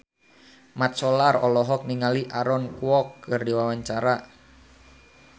Mat Solar olohok ningali Aaron Kwok keur diwawancara